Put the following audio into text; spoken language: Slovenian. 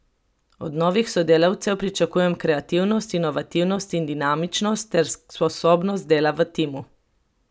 Od novih sodelavcev pričakujemo kreativnost, inovativnost in dinamičnost ter sposobnost dela v timu.